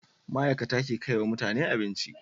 ma'ikata ke kaiwa mutane abinci